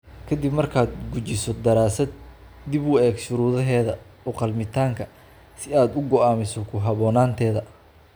Kadib markaad gujiso daraasad, dib u eeg shuruudaheeda u-qalmitaanka si aad u go'aamiso ku haboonaanteeda.